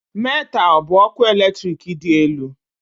Metal bụ ọkụ eletrik dị elu